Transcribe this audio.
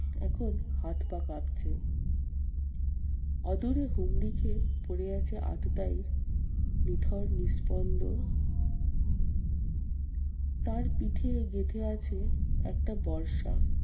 এখন হাত পা কাঁপছে। অদূরে হুমড়ি খেয়ে পরে আছে আততায়ী নিথর নিঃস্পন্দ। তার পিঠে গেঁথে আছে একটা বর্ষা।